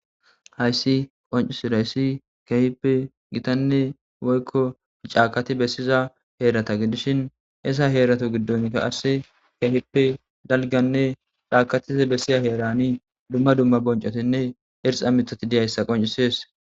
hayssi qoncisidayssi kehipe gitanne woykko cakati bessiza heerata gidishin ezza heerato giddonka qasse kehipe dalganne caakatiza bessiya heerani dumma dumma boncotinne irxa mithati diyayssa qoncisees